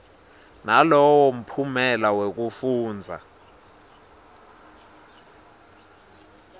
nalowo mphumela wekufundza